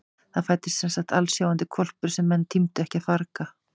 Það fæddist semsagt alsjáandi hvolpur sem menn tímdu ekki að farga.